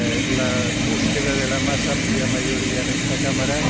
la búsqueda de la más amplia mayoría en esta Cámara